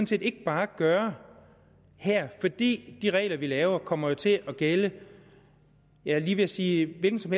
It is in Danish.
set ikke bare gøre fordi de regler vi laver jo kommer til at gælde jeg var lige ved at sige en hvilken som